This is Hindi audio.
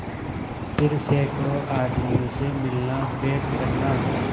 फिर सैकड़ों आदमियों से मिलनाभेंट करना